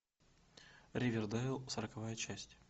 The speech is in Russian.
ривердейл сороковая часть